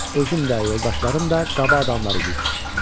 Özüm də, yoldaşlarım da qaba adamlar idik.